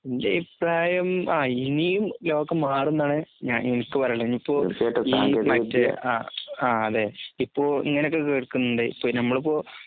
എന്റഭിപ്രായം അഇനിയും ലോകംമാറുംന്നാണ് ഞാൻഎനിക്ക്പറയാനുള്ളത് ഇനിപ്പോ ഈമറ്റെ അ ആഅതേ ഇപ്പോ ഇങ്ങനൊക്കെകേക്കുന്നുണ്ട് ഇപ്പഞമ്മളിപ്പൊ